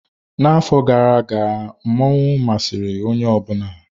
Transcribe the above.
N'afọ gara aga, masquerade masịrị onye ọ bụla.